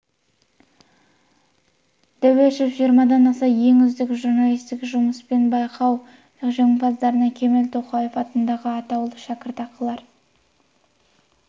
дәуешов жиырмадан аса ең үздік журналистік жұмыс пен байқау жеңімпаздарына кемел тоқаев атындағы атаулы шәкіртақылар